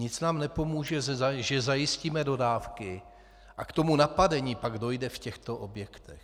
Nic nám nepomůže, že zajistíme dodávky, a k tomu napadení pak dojde v těchto objektech.